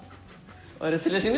værirðu til að